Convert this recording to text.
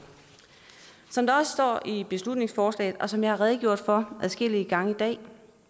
som der står i beslutningsforslaget og som jeg har redegjort for adskillige gange i dag